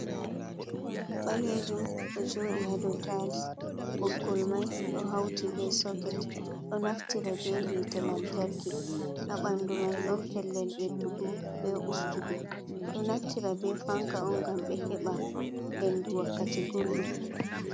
fanka balejum ɗo joɗi hado tails, ɓoggol mai ɗo hauti be soket ɗo naftira be hite lantarki, ha ɓandu mai ɗon pellel ɓeddugo be ustugo, ɓeɗo naftira be fanka on ngam be heɓa hendu wakkati gullɗum.